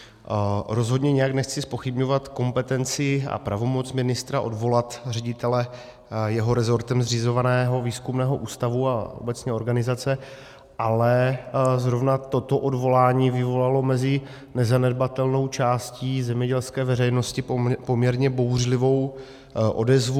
Rozhodně nijak nechci zpochybňovat kompetenci a pravomoc ministra odvolat ředitele jeho resortem zřizovaného výzkumného ústavu a obecně organizace, ale zrovna toto odvolání vyvolalo mezi nezanedbatelnou částí zemědělské veřejnosti poměrně bouřlivou odezvu.